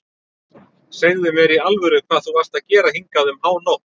Segðu mér í alvöru hvað þú varst að gera hingað um hánótt.